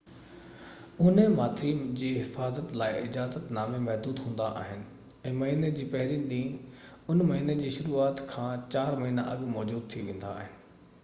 اونهي ماٿري جي حفاظت لاءِ اجازت نامان محدود هوندا آهن ۽ مهيني جي پهرين ڏينهن ان مهيني جي شروعات کان چار مهينا اڳ موجود ٿي ويندا آهن